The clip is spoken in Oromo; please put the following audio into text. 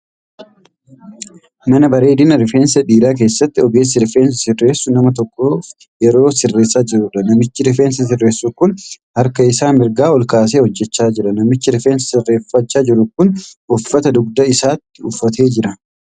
Mana bareedina rifeensaa dhiiraa keessatti ogeessi rifeensa sirreessu nama tokkoof yeroo sirreessaa jiruudha. Namichi rifeensa sirreessu kun harka isaa mirgaa ol kaasee hojjechaa jira. Namichi rifeensa sirreeffachaa jiru kun uffata dugda isaatti uffatee jira.